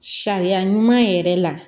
Sariya ɲuman yɛrɛ la